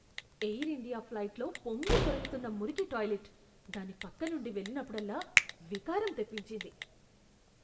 Air India ఫ్లైట్లో పొంగిపొర్లుతున్న మురికి టాయిలెట్, దాని పక్కనుండి వెళ్ళినప్పుడల్లా వికారం తెప్పించింది.